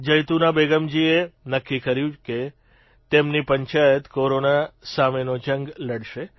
જૈતુના બેગમજીએ નક્કી કર્યું કે તેમની પંચાયત કોરોના સામેનો જંગ લડશે